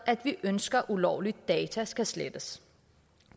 at vi ønsker at ulovlige data skal slettes